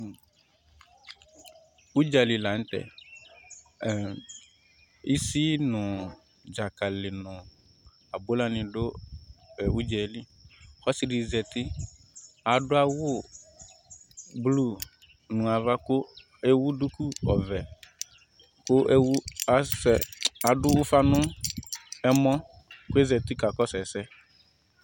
Udza lɩ la n'tɛ Ɛɛ isi nu dzakali nu abula ni du e udze lɩ K'ɔsi dɩ zeti adu awu bluu nu aʋa ku ewu duku ɔʋɛ ku ewu asɛ adu ufa nu ɛmɔ koe zeti ka kɔsu ɛsɛ